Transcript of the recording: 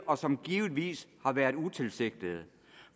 og som givetvis har været utilsigtede